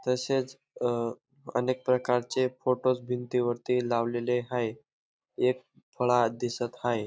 तसेच अ अनेक प्रकारचे फोटोज भिंतीवरती लावलेले हाये एक फळा दिसत हाये.